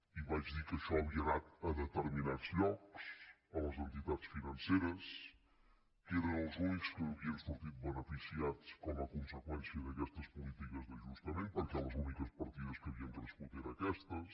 i vaig dir que això havia anat a determinats llocs a les entitats financeres que eren els únics que n’havien sortit bene ficiats com a conseqüència d’aquestes polítiques d’ajustament perquè les úniques partides que havien crescut eren aquestes